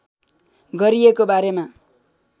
गरिएको बारेमा